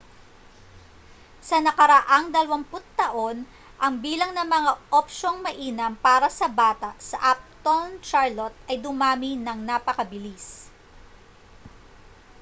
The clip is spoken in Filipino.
sa nakaraang 20 taon ang bilang ng mga opsyong mainam para sa bata sa uptown charlotte ay dumami nang napakabilis